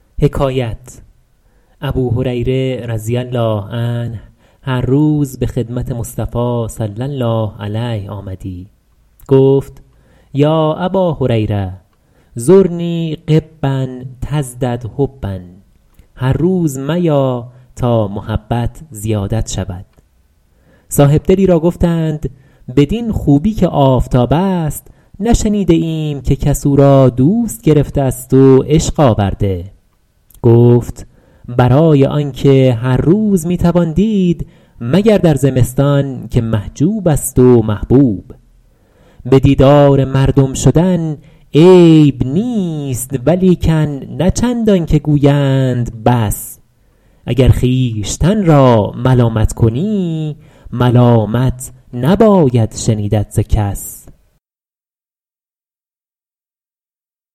ابوهریره رضی الله عنه هر روز به خدمت مصطفی صلی الله علیه آمدی گفت یا اباهریرة زرنی غبا تزدد حبا هر روز میا تا محبت زیادت شود صاحبدلی را گفتند بدین خوبی که آفتاب است نشنیده ایم که کس او را دوست گرفته است و عشق آورده گفت برای آنکه هر روز می توان دید مگر در زمستان که محجوب است و محبوب به دیدار مردم شدن عیب نیست ولیکن نه چندان که گویند بس اگر خویشتن را ملامت کنی ملامت نباید شنیدت ز کس